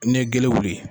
N'i ye gele wuli